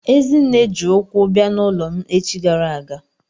Ezinne ji ụkwụ bịa n'ụlọ m echi gara aga.